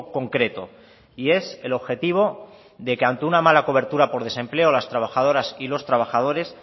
concreto y es el objetivo de que ante una mala cobertura por desempleo las trabajadoras y los trabajadores